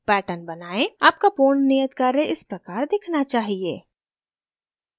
आपका पूर्ण नियत कार्य इस प्रकार दिखना चाहिए